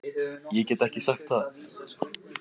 Ég get ekki sagt það